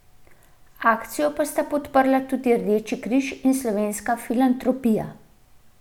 Akcijo pa sta podprla tudi Rdeči križ in Slovenska filantropija.